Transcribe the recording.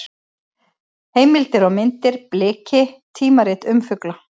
Heimildir og myndir: Bliki: tímarit um fugla.